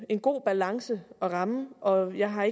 en god balance at ramme og jeg har